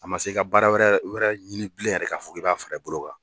A man se i ka baara wɛrɛ wɛrɛ ɲini bilen yɛrɛ ka fo i b'a fara i bolo kan.